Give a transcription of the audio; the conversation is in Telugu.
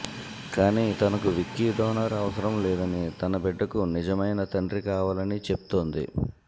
కానీ తనకు విక్కీ డోనార్ అవసరం లేదని తన బిడ్డకు నిజమైన తండ్రి కావాలని చెప్తోంది